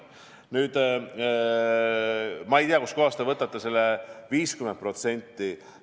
Nüüd, ma ei tea, kust kohast te võtate selle 50%.